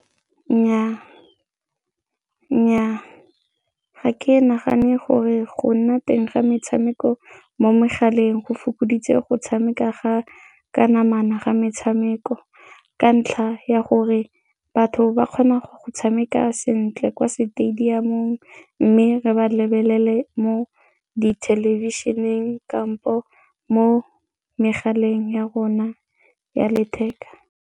Nnyaa, ga ke nagane gore go nna teng ga metshameko mo megaleng go fokoditse go tshameka ga ka namana ga metshameko ka ntlha ya gore batho ba kgona go tshameka sentle kwa stadium-ong mme re ba lebelele mo dithelebišeneng kampo mo megaleng ya rona ya letheka.